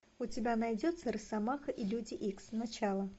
у тебя найдется росомаха и люди икс начало